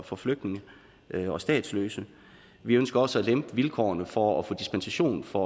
for flygtninge og statsløse vi ønsker også at lempe vilkårene for at få dispensation fra